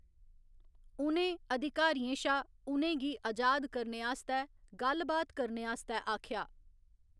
उ'नें अधिकारियें शा उ'नें गी अजाद करने आस्तै गल्ल बात करने आस्तै आखेआ।